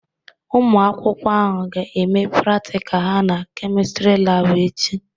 Ụmụ akwụkwọ ahụ ga-eme pratika ha na Kemistri Laabụ echi.